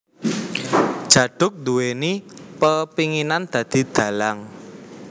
Djaduk nduwèni pepénginan dadi dhalang